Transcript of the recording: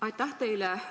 Aitäh teile!